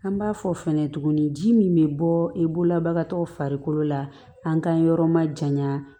An b'a fɔ fɛnɛ tuguni ji min bɛ bɔɔ i bolola bagatɔw farikolo la an ka yɔrɔ ma janya